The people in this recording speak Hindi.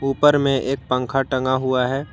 ऊपर में एक पंखा टंगा हुआ है।